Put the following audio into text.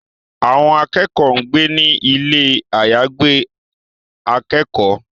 Àwọn akẹ́kọ̀ọ́ ń gbé ní ilé àyàgbé akẹ́kọ̀ọ́